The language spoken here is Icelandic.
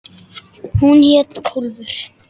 Hún hét Kólfur.